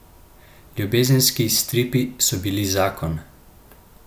Ljubezenski stripi so bili zakon!